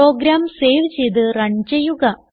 programme save ചെയ്ത് run ചെയ്യുക